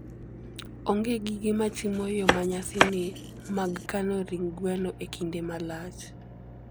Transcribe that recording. onge gige machimo yo manyasani mag kano ring gweno e kinde malach